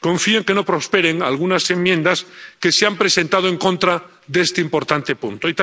Confío en que no prosperen algunas enmiendas que se han presentado en contra de este importante punto.